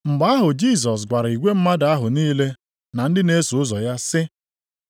Mgbe ahụ Jisọs gwara igwe mmadụ ahụ niile na ndị na-eso ụzọ ya sị,